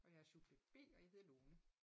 Og jeg er subjekt B og jeg hedder Lone